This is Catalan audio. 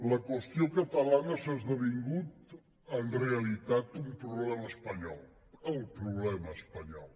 la qüestió catalana ha esdevingut en realitat un problema espanyol el problema espanyol